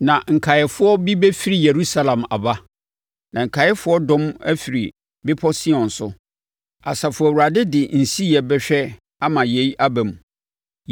Na nkaeɛfoɔ bi bɛfiri Yerusalem aba, na nkaeɛfoɔ dɔm afiri Bepɔ Sion so. Asafo Awurade di nsiyɛ bɛhwɛ ama yei aba mu.